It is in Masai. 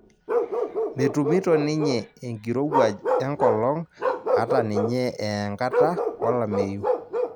Metumito ninye enkirowuaj enkolong' hata ninye ee enkata olameyu